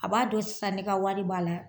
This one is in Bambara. A b'a dɔn sisan ne ka wari b'a la